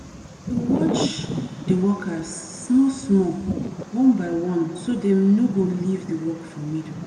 watch de workers small small one by one so dem no go leave de work for middle